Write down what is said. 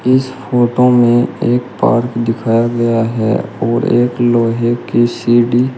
इस फोटो में एक पार्क दिखाया गया है और एक लोहे की सीढी --